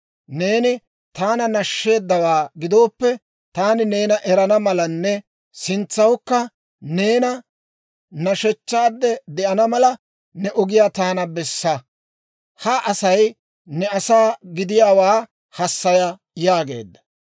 Neeni taana nashsheeddawaa gidooppe, taani neena erana malanne sintsawukka neena nashechchaade de'ana mala, ne ogiyaa taana bessa. Ha Asay ne asaa gidiyaawaa hassaya» yaageedda.